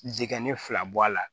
Jigɛnɛ fila bɔ a la